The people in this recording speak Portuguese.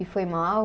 E foi mal.